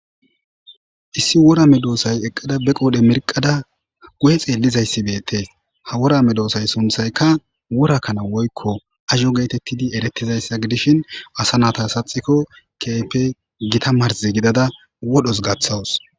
Issi worame doosay eqqada be qoodhe merqada gu7e xeellizayssi beetees ha worame doosay sunthaykka worakkana woykko azho geetettidi erettizayssa gidishin asa nata saxikko keep gita marz gidada wodhos gaththawus